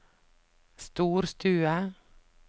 storstue